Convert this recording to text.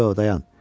Yox, dayan.